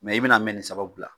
Mɛ i bɛ n'a mɛn nin sababu la.